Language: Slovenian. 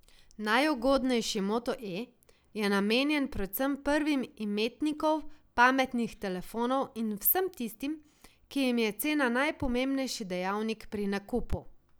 Najugodnejši Moto E je namenjen predvsem prvim imetnikov pametnih telefonov in vsem tistim, ki jim je cena najpomembnejši dejavnik pri nakupu.